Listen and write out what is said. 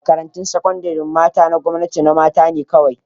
Makarantun sakandaren mata na gwamnati na mata ne kawai